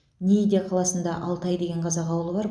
нийде қаласында алтай деген қазақ ауылы бар